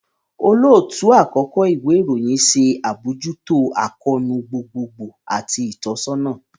Olootu-akọkọ iwe irohin ṣe abojuto akoonu gbogbogbo ati itọsọna